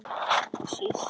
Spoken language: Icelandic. Síst minni.